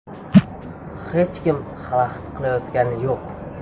Hech kim xalaqit qilayotgani yo‘q.